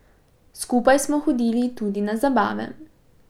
Skupaj smo hodili tudi na zabave.